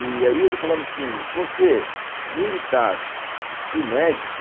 E aí ele falava assim, você militar e médico,